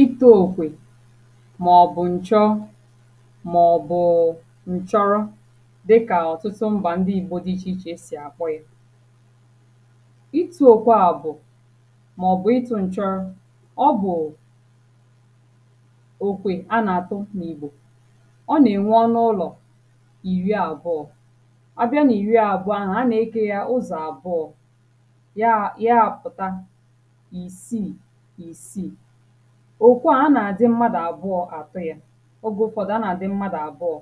ɪ́tʊ̄ òkʷè maọ̀bụ̀ ǹchọ maọ̀bụ̀ ǹchọ dị kà ọ̀tụtụ mbà ndị igbò dị ichè ichè esì àkpọ yā ịtụ̄ òkwè a bụ̀ maọ̀bụ̀ ịtụ̄ ǹchọ ā ọ bụ̀ òkwè anà àtụ n’ìgbò ọ n’ènwe ọnụ ụlọ̀ ìri àbụ̀ọ abịa n’ìri àbụọ ā ha nà-ekē yā ụzọ̀ àbụ̀ọ ya ya pụ̀ta ìsii ìsii òkwè a a nà-àdị mmadụ̀ àbụ̀ọ àtụ ya ogè ụ̀fọdụ a nà-àdị mmadụ̀ àbụ̀ọ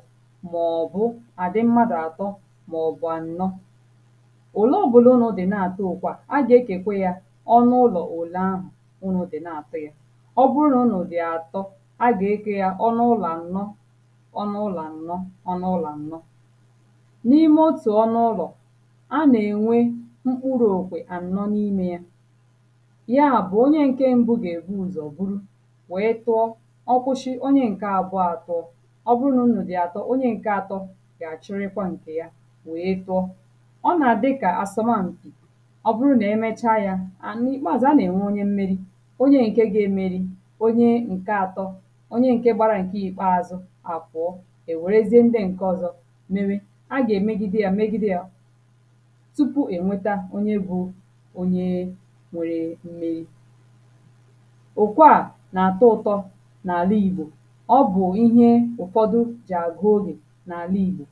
maọ̀bụ àdị mmadụ̀ àtọ maọ̀bụ̀ ànọ òne ọbụlà unù dị n’àtụ òkwè a agà ekèkwa yā ọnụ ụlọ̀ òle ahụ̀ unù dị̀ n’àtụ yā ọbụrụ unù dị̀ àtọ a gà-èke yā ọnụ ụlọ̀ ànọ ọnụ ụlọ̀ ànọ ọnụ ụlọ̀ ànọ n’ime otù ọnụ ụlọ̀ a n’ènwe mkpụrụ òkwè ànọ n’imē ya ya bụ̀ onye ǹke mbu gà-èbu ụzọ̀ bụrụ we tụọ ọkwụshị onye ǹke àbụ̀ọ a tụọ ọ bụ unù dị̀ àtọ onye ǹke àtọ gà-àchịrịkwa ǹkè ya we tụọ ọ nà-àdị kà àsọwam̀pì ọ bụrụ na-emecha yā and n’ìkpeazụ a nà-ènwe onye mmeri onye ǹke ga-emeri onye ǹke àtọ onye ǹke bara ǹke ìkpeazụ àbụ̀ọ èwerezie ndị ǹkè ọzọ̄ mewe a gà-èmegide yā megide yā tupu èweta onye bụ̄ onye nwere mmeri òkwè a nà-àtọ ụtọ̄ n’àla ìgbò ọ bụ̀ ihe ụ̀fọdụ jì àgụ ogè n’àla ìgbò